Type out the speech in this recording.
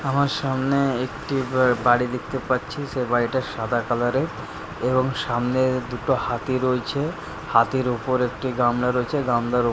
আমার সামনে একটি বা-বাড়ি দেখতে পাচ্ছি সে বাড়িটা সাদা কালার -এর এবং সামনে দুটো হাতি রইছে হাতির ওপর একটি গামলা রয়েছে গামলার ও।